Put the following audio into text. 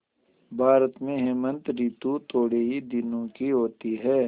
भारत में हेमंत ॠतु थोड़े ही दिनों की होती है